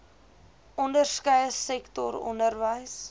onderskeie sektor onderwys